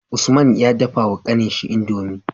Usman ya dafa wa kanin shi indomie